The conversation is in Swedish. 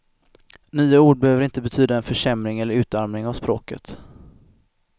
Nya ord behöver inte betyda en försämring eller utarmning av språket.